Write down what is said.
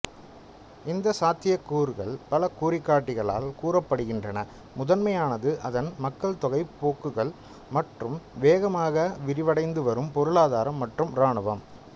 இந்த சாத்தியக்கூறுகள் பல குறிகாட்டிகளால் கூறப்படுகின்றன முதன்மையானது அதன் மக்கள்தொகை போக்குகள் மற்றும் வேகமாக விரிவடைந்துவரும் பொருளாதாரம் மற்றும் இராணுவம்